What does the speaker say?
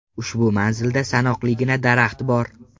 Ushbu manzilda sanoqligina daraxt bor.